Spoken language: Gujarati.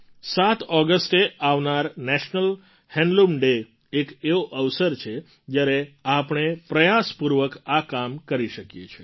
૭ ઑગસ્ટે આવનાર નેશનલ હેન્ડલૂમ ડૅ એક એવો અવસર છે જ્યારે આપણે પ્રયાસપૂર્વક આ કામ કરી શકીએ છીએ